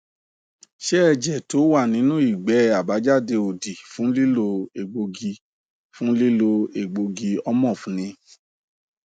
ṣé ẹjẹ tó wà nínú igbe abajade odi fun lilo egbogi fun lilo egbogi ornof ni